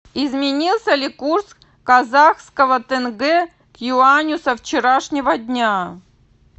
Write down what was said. изменился ли курс казахского тенге к юаню со вчерашнего дня